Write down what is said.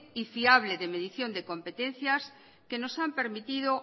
y fiable de medición de competencias que nos han permitido